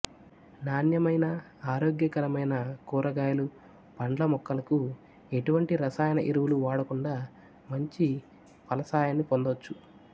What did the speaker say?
నాణ్యమైన ఆరోగ్యకరమైన కూరగాయలు పండ్ల మొక్కలకు ఎటువంటి రసాయన ఎరువులు వాడకుండా మంచి ఫలసాయాన్ని పొందొచ్చు